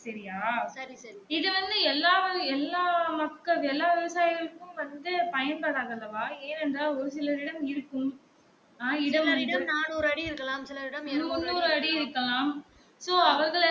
சரியா இது வந்து எல்லா எல்லா மக்கள் எல்லா விவசாயிகளுக்கும் வந்து பயன் படாது அல்லவா? ஏன் என்றால் ஒரு சிலரிடம் இருக்கும் முந்நூறு அடி இருக்கலாம் so அவர்கள்